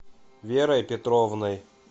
верой петровной